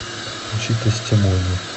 включи тестимони